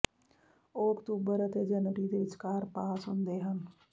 ਉਹ ਅਕਤੂਬਰ ਅਤੇ ਜਨਵਰੀ ਦੇ ਵਿਚਕਾਰ ਪਾਸ ਹੁੰਦੇ ਹਨ